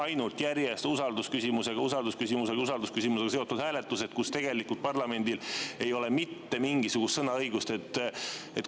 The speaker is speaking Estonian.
Siin on järjest ainult usaldusküsimusega seotud hääletused, kus parlamendil ei ole mitte mingisugust sõnaõigust.